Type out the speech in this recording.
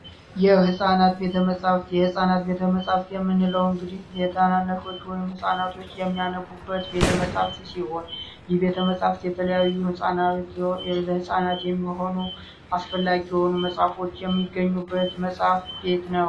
የህፃናት ቤተመፃፍት የህፃናት ቤተመፃፍት የምንለው እንግዲህ ታናናሾች / ህጻናቶች የሚያነቡበት ቤተመፃፍት ሲሆን የቤተመፃፍት የተለያዩ ህፃናት የሚሆኑ አስፈላጊ የሆኑ ነፃ የሚገኙበት መጽሐፍ ቤት ነው